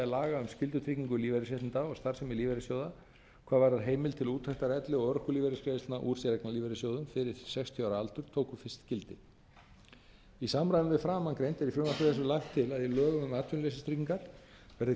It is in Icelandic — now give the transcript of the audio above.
laga um skyldutryggingu lífeyrisréttinda og starfsemi lífeyrissjóða hvað varðar heimild til úttektar elli og örorkulífeyrisgreiðslna úr séreignarlífeyrissjóðum fyrir sextíu ára aldur tóku fyrst gildi í samræmi við framangreint er í frumvarpi þessu lagt til að í lögum um atvinnuleysistryggingar verði